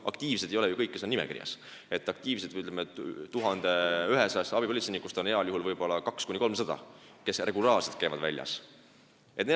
Aktiivsed ei ole ju kõik, kes on nimekirjas, 1100 abipolitseinikust on aktiivseid heal juhul 200–300, nemad osalevad regulaarselt.